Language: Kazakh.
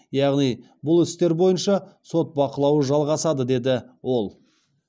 яғни бұл істер бойынша сот бақылауы жалғасады деді ол